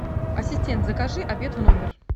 ассистент закажи обед в номер